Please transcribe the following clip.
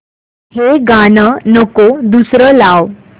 हे गाणं नको दुसरं लाव